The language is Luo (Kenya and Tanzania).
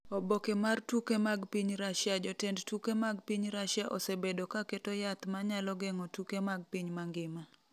Oboke mar tuke mag piny Russia Jotend tuke mag piny Russia osebedo ka keto yath ma nyalo geng’o tuke mag piny mangima.